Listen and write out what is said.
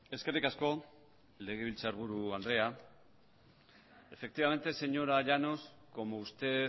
eskerrik asko legebiltzarburu andrea efectivamente señora llanos como usted